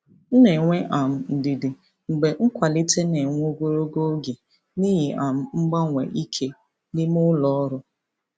M na-enwe um ndidi mgbe nkwalite na-ewe ogologo oge n'ihi um mgbanwe ike n'ime ụlọ ọrụ.